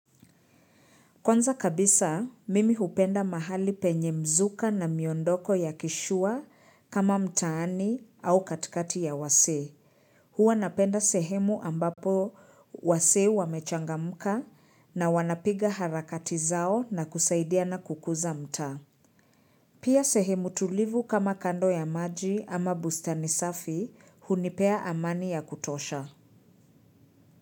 Kwanza kabisa, mimi hupenda mahali penye mzuka na miondoko ya kishua kama mtaani au katikati ya wasee Huwa napenda sehemu ambapo wasee wamechangamka na wanapiga harakati zao na kusaidia na kukuza mtaa. Pia sehemu tulivu kama kando ya maji ama bustani safi hunipea amani ya kutosha.